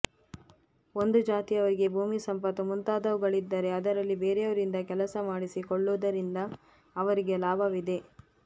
ಒಂದು ಜಾತಿಯವರಿಗೆ ಭೂಮಿ ಸಂಪತ್ತು ಮುಂತಾದವುಗಳಿದ್ದರೆ ಅದರಲ್ಲಿ ಬೇರೆಯವರಿಂದ ಕೆಲಸ ಮಾಡಿಸಿ ಕೊಳ್ಳುವುದರಿಂದ ಅವರಿಗೆ ಲಾಭವಿದೆ